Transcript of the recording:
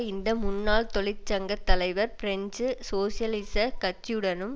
இந்த முன்னாள் தொழிற்சங்க தலைவர் பிரெஞ்சு சோசியலிசக் கட்சியுடனும்